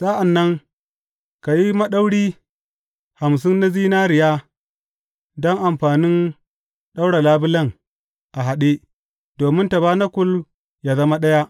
Sa’an nan ka yi maɗauri hamsin na zinariya don amfanin ɗaura labulen a haɗe, domin tabanakul yă zama ɗaya.